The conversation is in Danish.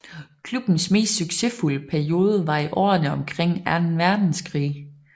Klubbens mest succesfulde periode var i årene omkring Anden Verdenskrig